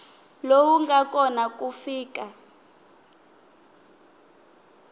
lowu nga kona ku fika